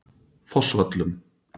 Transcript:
Fossvöllum